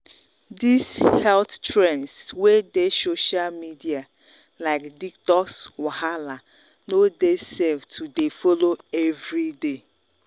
these health trends wey dey social media like detox wahala detox wahala no dey safe to dey follow every day.